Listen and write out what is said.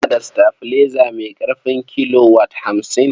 Muna da sitabilaiza mai ƙarfin kilowat hamsin.